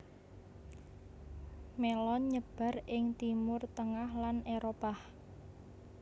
Mélon nyebar ing Timur tengah lan Éropah